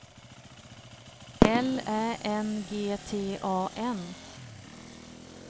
L Ä N G T A N